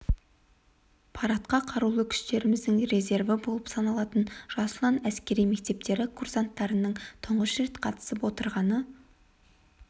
парадқа қарулы күштеріміздің резерві болып саналатын жас ұлан әскери мектептері курсанттарының тұңғыш рет қатысып отырғаны